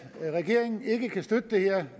regeringen ikke kan støtte det her